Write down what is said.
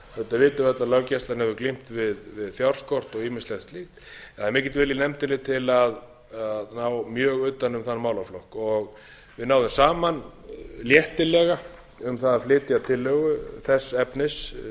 auðvitað vitum við öll að löggæslan hefur glímt við fjárskort og ýmislegt slíkt það er mikill vilji í nefndinni til að ná mjög utan um þann málaflokk við náðum saman léttilega um það að flytja tillögu þess efnis